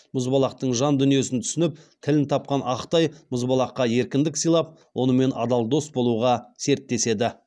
мұзбалақтың жан дүниесін түсініп тілін тапқан ақтай мұзбалаққа еркіндік сыйлап онымен адал дос болуға серттеседі